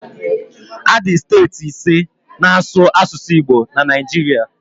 Adị steeti ise na asụ asụsụ Igbo na Naijiria